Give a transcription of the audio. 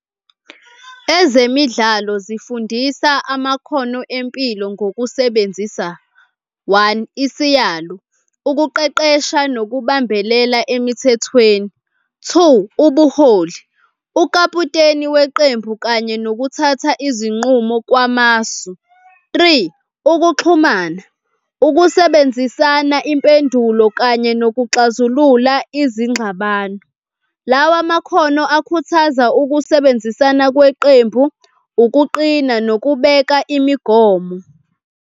Ezemidlalo zifundisa amakhono empilo ngokusebenzisa, one, isiyalo, ukuqeqesha nokubambelela emithethweni. Two, ubuholi, ukaputeni weqembu kanye nokuthatha izinqumo kwamasu. Three ukuxhumana, ukusebenzisana impendulo kanye nokuxazulula izingxabano. Lawa makhono akhuthaza ukusebenzisana kweqembu, ukuqina nokubeka imigomo.